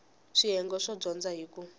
swiyenge swo dyondza hi ku